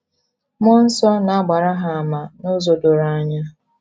Mmụọ nsọ na - agbara ha àmà n’ụzọ doro anya.